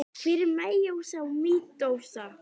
Hvað er meiósa og mítósa?